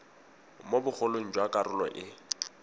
mo bogolong jwa karolo e